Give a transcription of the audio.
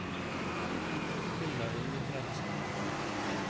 Hilda Ingebretsen